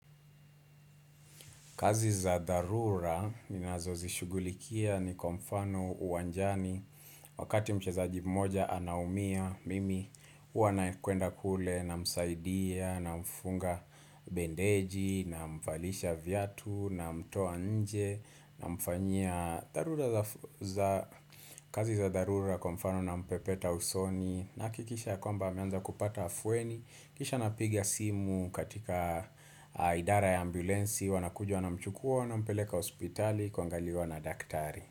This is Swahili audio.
Kazi za dharura ninazo zishughulikia ni kwa mfano uwanjani Wakati mchezaji mmoja anaumia mimi huwa nakwenda kule namsaidia namfunga bendeji namvalisha vyatu namtoa nje namfanyia dharura za kazi za dharura kwa mfano nampepeta usoni nahakikisha yakwamba ameanza kupata afueni kisha napiga simu katika idara ya ambulensi wanakuja wanamchukua wanampeleka hospitali kuangaliwa na daktari.